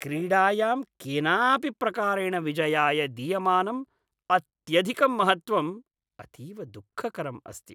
क्रीडायां केनापि प्रकारेण विजयाय दीयमानम् अत्यधिकं महत्त्वम् अतीव दुःखकरम् अस्ति।